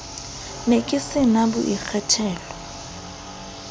ne ke se na boikgethelo